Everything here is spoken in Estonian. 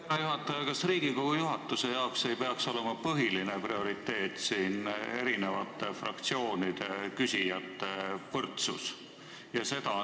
Härra juhataja, kas Riigikogu juhatuse jaoks ei peaks põhiline prioriteet olema eri fraktsioonide küsijate võrdsus?